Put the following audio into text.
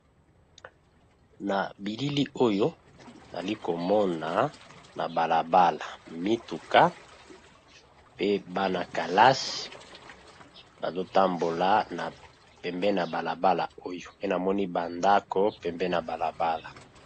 Nabilili oyo nazli komona na balabala mituka pe bana kelasi bazotambola pembeni ya balabala oyo pe namoni ba ndako pembeni ya balabala